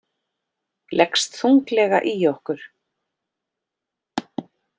Leggst þunglega í okkur